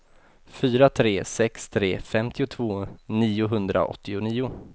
fyra tre sex tre femtiotvå niohundraåttionio